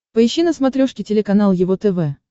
поищи на смотрешке телеканал его тв